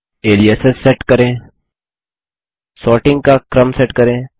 aliases set करें sorting का क्रम सेट करें